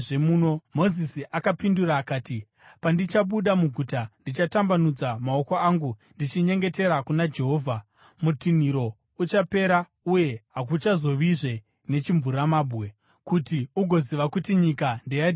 Mozisi akapindura akati, “Pandichabuda muguta, ndichatambanudza maoko angu ndichinyengetera kuna Jehovha. Mutinhiro uchapera uye hakuchazovazve nechimvuramabwe, kuti ugoziva kuti nyika ndeyaJehovha.